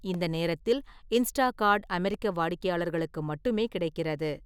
இந்த நேரத்தில், இன்ஸ்டாகார்ட் அமெரிக்க வாடிக்கையாளர்களுக்கு மட்டுமே கிடைக்கிறது.